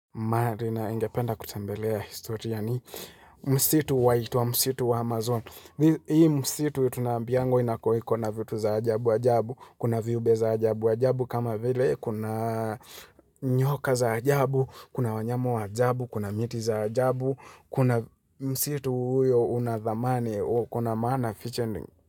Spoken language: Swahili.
Ma ri ningependa kutembelea historia ni msitu waitwa wa msitu wa Amazon. Hii msitu yu tunambiangwa inakoiko na vitu za ajabu, ajabu, kuna viube za ajabu, ajabu, kama vile, kuna nyoka za ajabu, kuna wanyama wa ajabu, kuna miti za ajabu, kuna msitu huyo una dhamani, kuna maana fichending.